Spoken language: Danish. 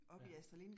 Ja